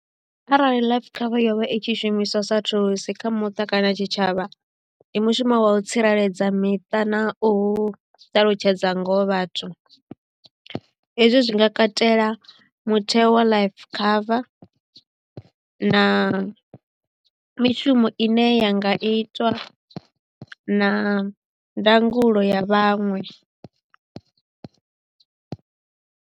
Arali life cover yovha i tshi shumiswa sa thulusi kha muṱa kana tshitshavha ndi mushumo wa u tsireledza miṱa na u ṱalutshedza ngoho vhathu hezwi zwi nga katela mutheo wa life cover na mishumo ine ya nga itwa na ndangulo ya vhaṅwe.